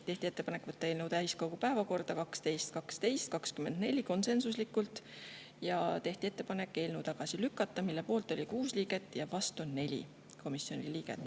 Tehti ettepanek võtta eelnõu täiskogu päevakorda 12.12.24, konsensuslikult, ja tehti ettepanek eelnõu tagasi lükata, mille poolt oli 6 komisjoni liiget ja vastu 4.